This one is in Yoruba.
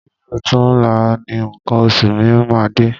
Bi ọ̀túnla ni nǹkan oṣù mi máa dé.